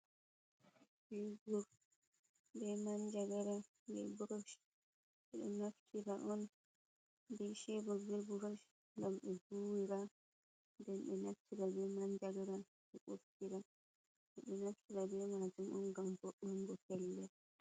Shebur be man jagara be burush, ɓe ɗo naftira on be shebur be burush gam ɓe vuwira, nden ɓe naftira be man jagara ɓe ɓuftira, ɓe ɗo naftira be majum on gam vo Un go pellel.